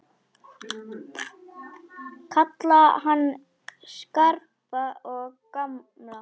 Kalla hann Skarpa og gamla!